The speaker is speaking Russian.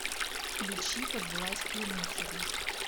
включи под властью мусора